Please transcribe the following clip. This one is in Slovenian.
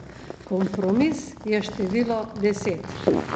Kompromis je število deset.